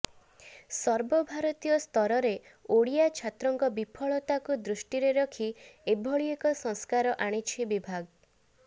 ସର୍ବଭାରତୀୟ ସ୍ତରରେ ଓଡିଆ ଛାତ୍ରଙ୍କ ବିଫଳତାକୁ ଦୃଷ୍ଟିରେ ରଖି ଏଭଳି ଏକ ସଂସ୍କାର ଆଣିଛି ବିଭାଗ